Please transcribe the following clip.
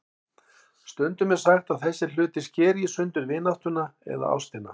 Stundum er sagt að þessir hlutir skeri í sundur vináttuna eða ástina.